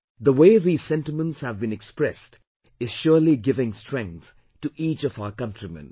The way these sentiments have been expressed is surely giving strength to each of our countrymen